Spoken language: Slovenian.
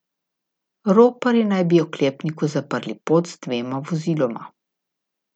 Roparji naj bi oklepniku zaprli pot z dvema voziloma.